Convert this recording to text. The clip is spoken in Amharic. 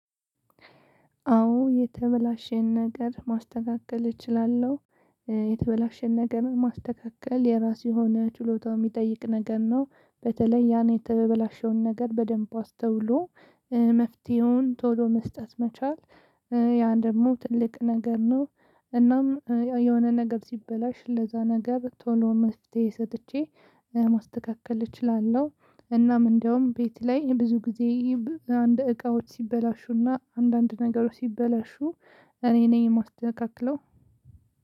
አዎ የተበላሸን ነገር ማስተካከል እችላለሁ። የተበላሸን ነገር ማስተካከል የራሱ የሆነ ችሎታ የሚጠይቅ ነገር ነው። በተለይ ያን የተበላሸውን ነገር በደንብ አስተውሎ መፍትሄውን ቶሎ መስጠት መቻል ያ ደግሞ ትልቅ ነገር ነው፤ እናም የሆነ ነገር ሲበላሽ ለዛ ነገር ቶሎ መፍትሄ ሰጥቼ ማስተካከል እችላለሁ። እናም እንደውም ቤት ላይ ብዙ ጊዜ አንድ እቃዎች ሲበላሹና አንዳንድ ነገሮች ሲበላሹ እኔ ነኝ የማስተካክለው።